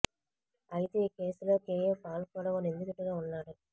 అయితే ఈ కేసులో కేఏ పాల్ కూడా ఓ నిందితుడిగా ఉన్నాడు